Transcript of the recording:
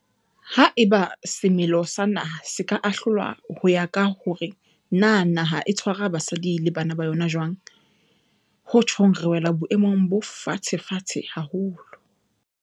Haeba semelo sa naha se ka ahlolwa ho ya ka hore na naha e tshwara basadi le bana ba yona jwang, ho tjhong re wela boemong bo fatshefatshe haholo.